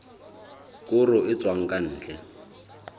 koro e tswang ka ntle